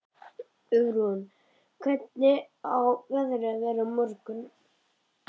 Ýrún, hvernig verður veðrið á morgun?